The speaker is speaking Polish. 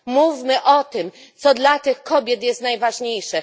Mówmy o tym, co dla tych kobiet jest najważniejsze.